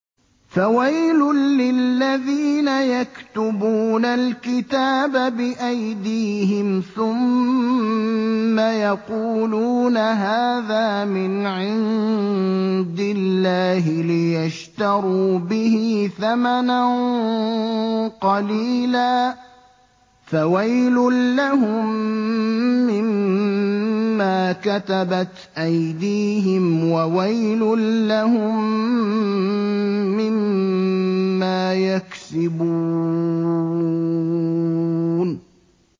فَوَيْلٌ لِّلَّذِينَ يَكْتُبُونَ الْكِتَابَ بِأَيْدِيهِمْ ثُمَّ يَقُولُونَ هَٰذَا مِنْ عِندِ اللَّهِ لِيَشْتَرُوا بِهِ ثَمَنًا قَلِيلًا ۖ فَوَيْلٌ لَّهُم مِّمَّا كَتَبَتْ أَيْدِيهِمْ وَوَيْلٌ لَّهُم مِّمَّا يَكْسِبُونَ